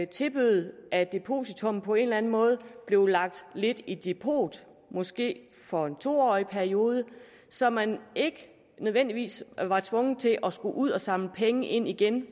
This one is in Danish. tilbød at depositummet på en eller anden måde blev lagt lidt i depot måske for en to årig periode så man ikke nødvendigvis er tvunget til at skulle ud og samle penge ind igen